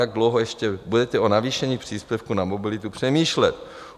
Jak dlouho ještě budete o navýšení příspěvku na mobilitu přemýšlet?